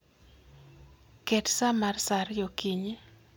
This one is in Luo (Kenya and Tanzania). Ket sa mar sa ariyo okinyi